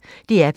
DR P1